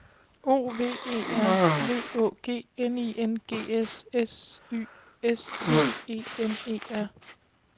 O V E R V Å G N I N G S S Y S T E M E R